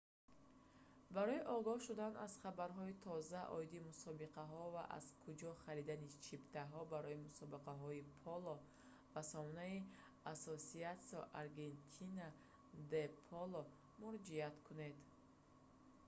барои огаҳ шудан аз хабарҳои тоза оиди мусобиқаҳо ва аз куҷо харидани чиптаҳо барои мусобиқаҳои поло ба сомонаи «asociacion argentina de polo» муроҷиат кунед